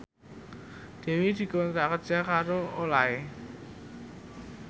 Dewi dikontrak kerja karo Olay